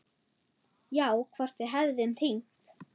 Já, hvort við hefðum hringt.